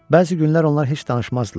Bəzi günlər onlar heç danışmazdılar.